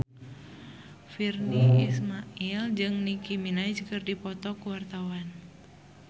Virnie Ismail jeung Nicky Minaj keur dipoto ku wartawan